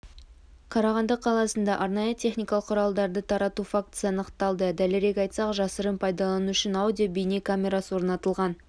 қарағанды қаласында арнайы техникалық құралдарды тарату фактісі анықталды дәлірек айтсақ жасырын пайдалану үшін аудио-бейне камерасы орнатылған